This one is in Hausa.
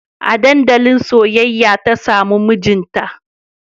A dandalin soyayya ta samu mijinta